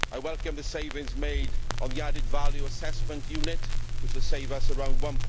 I welcome the savings made on the Added Value Assessment Unit which will save us around EUR